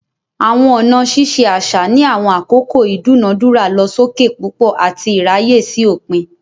Awọn ọna ṣiṣe aṣa ni awọn akoko idunadura losokepupo ati iraye si opin.